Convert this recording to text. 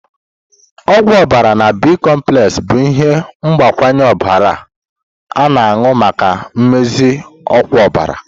Ogwu obara na B.komplexi bụ ihe mgbakwunye ọbara a-na anu maka mmezi ọkwa ọbara.